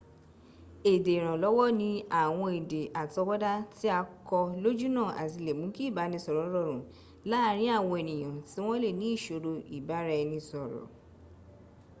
èdè ìrànlọ́wọ́ ní àwọn èdè àtọwọ́dá tí a kọ́ lójúnnà àti lè mún kí ìbánisọ̀rọ̀ rọrùn laàrin àwọn ènìyàn tí wọ́n lè ní ìṣòro ìbáraẹnisọ̀rọ̀